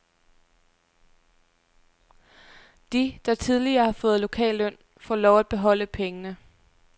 De, der tidligere har fået lokalløn, får lov at beholde pengene.